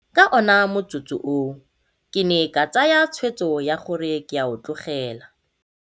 Ka ona motsotso oo ke ne ka tsaya tshwetso ya gore ke a o tlogela.